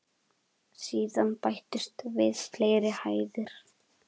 Síðan bættust við fleiri hæðir.